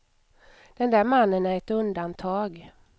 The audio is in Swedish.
Den där mannen är ett undantag.